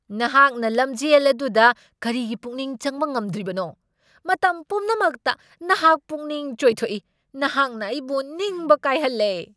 ꯅꯍꯥꯛꯅ ꯂꯝꯖꯦꯜ ꯑꯗꯨꯗ ꯀꯔꯤꯒꯤ ꯄꯨꯛꯅꯤꯡ ꯆꯪꯕ ꯉꯝꯗ꯭ꯔꯤꯕꯅꯣ? ꯃꯇꯝ ꯄꯨꯝꯅꯃꯛꯇ ꯅꯍꯥꯛ ꯄꯨꯛꯅꯤꯡ ꯆꯥꯏꯊꯣꯛꯏ꯫ ꯅꯍꯥꯛꯅ ꯑꯩꯕꯨ ꯅꯤꯡꯕ ꯀꯥꯏꯍꯜꯂꯦ ꯫